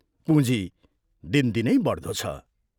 पूँजी दिनदिनै बढ्दो छ।